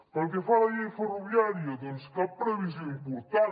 pel que fa a la llei ferroviària doncs cap previsió important